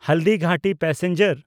Haldighati passenger